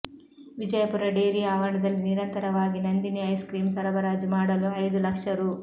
Vijayapura dairy ಆವರಣದಲ್ಲಿ ನಿರಂತರವಾಗಿ Nandini ice cream ಸರಬರಾಜು ಮಾಡಲು ಐದು ಲಕ್ಷ ರೂ